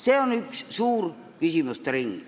See on üks suur küsimuste ring.